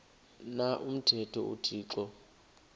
na umthetho uthixo